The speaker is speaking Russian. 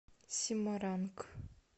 семаранг